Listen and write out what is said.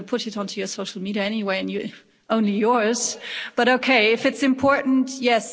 You are going to put it on to your social media anyway, only yours, but OK, if it's important, yes.